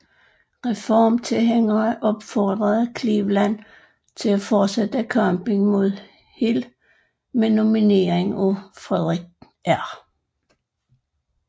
Reformtilhængere opfordrede Cleveland til at fortsætte kampen mod Hill med nominering af Frederic R